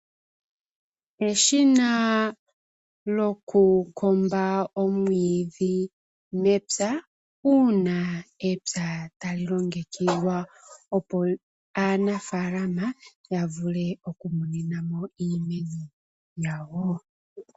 Eshina lyo kukomba omwiidhi mepya uuna epya tali longekidhwa opo aanafalama ya vule okukuninamo iimeno yawo.